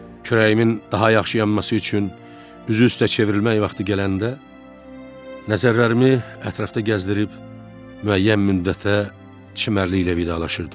Kürəyimin daha yaxşı yanması üçün üzü üstə çevrilmək vaxtı gələndə, nəzərlərimi ətrafda gəzdirib müəyyən müddətə çimərliklə vidalaşırdım.